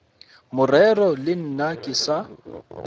morero le nna ke sa